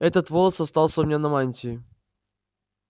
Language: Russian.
этот волос остался у меня на мантии